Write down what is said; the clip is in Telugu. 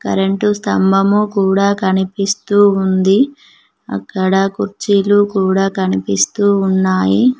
కరెంటు స్తంభము కూడా కనిపిస్తూ ఉంది అక్కడ కుర్చీలు కూడా కనిపిస్తూ ఉన్నాయి.